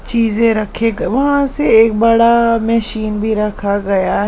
चीजें रखे वहां से एक बड़ा मशीन भी रखा गया--